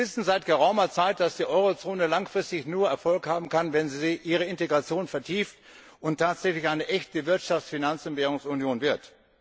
Wir wissen seit geraumer Zeit, dass die Eurozone langfristig nur Erfolg haben kann, wenn sie ihre Integration vertieft und tatsächlich eine echte Wirtschafts Finanz und Währungsunion wird.